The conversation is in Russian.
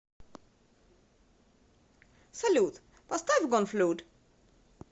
салют поставь гонфлюд